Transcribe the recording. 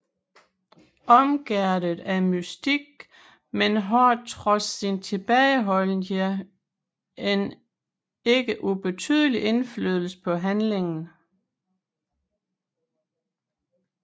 Omgærdet af mystik men har trods sin tilbageholdenhed en ikke ubetydelig indflydelse på handlingen